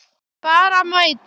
Bara mæta.